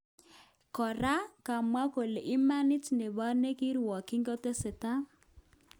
Kora, kamwa kole imanit nebo nekirwokyin ketekis.